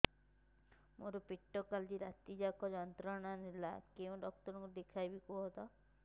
ମୋର ପେଟ କାଲି ରାତି ଯାକ ଯନ୍ତ୍ରଣା ଦେଲା କେଉଁ ଡକ୍ଟର ଙ୍କୁ ଦେଖାଇବି କୁହନ୍ତ